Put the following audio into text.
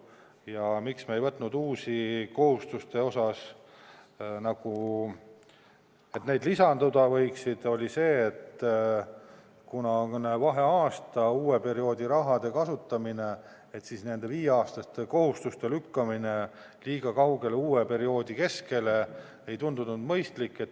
Ja miks me ei võtnud uusi kohustusi, põhjus, miks neid lisanduda ei võiks, oli see, et kuna on vaheaasta, uue perioodi raha kasutamine, siis nende viieaastaste kohustuste lükkamine liiga kaugele, uue perioodi keskele ei tundunud mõistlik.